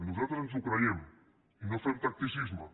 nosaltres ens ho creiem i no fem tacticisme